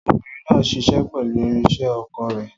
Obìnrin náà ń ṣiṣẹ́ pẹ̀lú irinṣẹ́ oko rẹ̀.